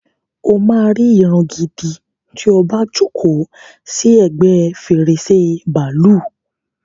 O máa ri ìran gidi ti o bá jókòó sì ẹgbẹ́ fèrèsé bàálù.